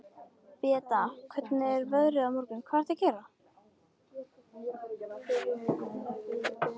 Beata, hvernig er veðrið á morgun?